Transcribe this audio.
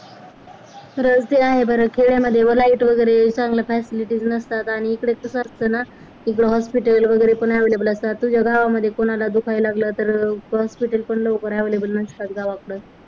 तु राहते आहे बरं खेड्यांमध्ये म light वगैरे चांगल्या facilities नसतात आणि इकडे तसं असत ना इकडे hospital वगैरे पण available असतात तुझ्या गावांमध्ये कोणाला दुखायला लागलं तर hospital पण लवकर available नसतात गावाकडं